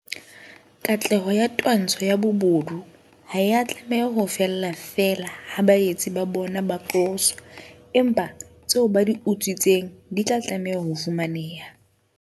Katleho ya twantsho ya bobodu ha ea tlameha ho fella feela ha baetsi ba bona ba qoswa, empa tseo ba di utswitseng di tla tlameha ho fumaneha.